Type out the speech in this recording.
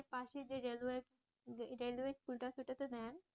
পাশের যে railway, railway স্কুলটা আছে ওটাতে দেন